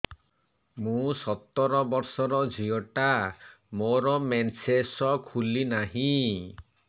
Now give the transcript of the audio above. ମୁ ସତର ବର୍ଷର ଝିଅ ଟା ମୋର ମେନ୍ସେସ ଖୁଲି ନାହିଁ